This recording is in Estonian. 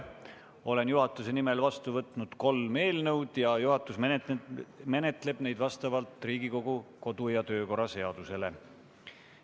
Olen juhatuse nimel vastu võtnud kolm eelnõu ja juhatus menetleb neid vastavalt Riigikogu kodu- ja töökorra seadusele.